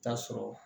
Taa sɔrɔ